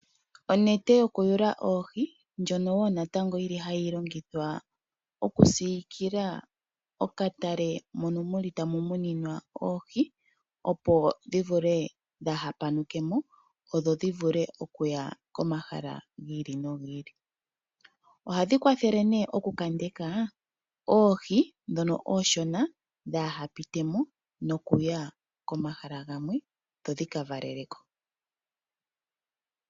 Onete yokuyula oohi ndjono woo natango hayi longithwa okusiikila okatale mono tamu muninwa oohi, opo dhi vule dhaa ha panuke mo dho dhi vule okuya komahala gi ili no gi ili. Ohadhi kwathele ne okukandeka oohi ndhono oonshona dhaa hapite mo nokuya komahala gamwe dho dhika valele ko.